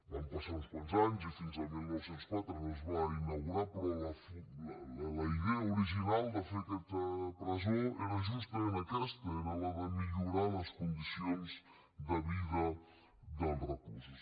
van passar uns quants anys i fins al dinou zero quatre no es va inaugurar però la idea original de fer aquesta presó era justament aquesta era la de millorar les condicions de vida dels reclusos